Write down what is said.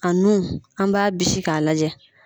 A nun an b'a bisi ka lajɛ.